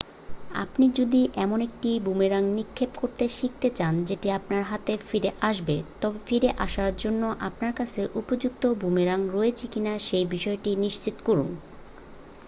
আপনি যদি এমন একটি বুমেরাং নিক্ষেপ করতে শিখতে চান যেটি আপনার হাতে ফিরে আসবে তবে ফিরে আসার জন্য আপনার কাছে উপযুক্ত বুমেরাং রয়েছে কিনা সে বিসয়টি নিশ্চিত করুন